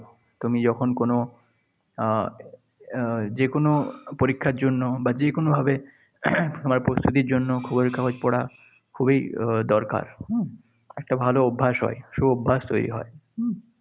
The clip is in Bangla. তুমি যখন কোনো আহ যে কোনো পরীক্ষার জন্য বা যে কোনোভাবে তোমার প্রস্তুতির জন্য খবরের কাগজ পড়া খুবই দরকার, হম? একটা ভালো অভ্যাস হয়। সুঅভ্যাস তৈরি হয়। হম